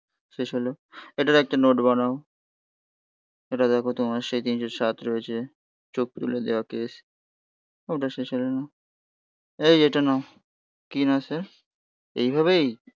শেষ হলো. এটার একটা নোট বানাও এটা দেখো তোমার সেই তিনশো সাত রয়েছে. চোখ তুলে দেওয়া কেস. ওটা শেষ হয়ে নাও. এই এটা নাও. কি না স্যার. এইভাবেই